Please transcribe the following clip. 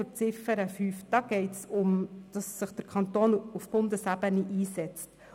Bei Ziffer 5 geht es darum, dass sich der Kanton auf Bundesebene einsetzen soll.